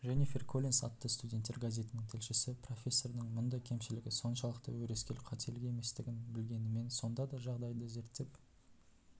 дженнифер коллинс атты студенттер газетінің тілшісі профессордың мұндай кемшілігі соншалықты өрескел қателік еместігін білгенімен сонда да жағдайды зерттеп